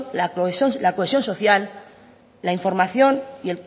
la cohesión social la información y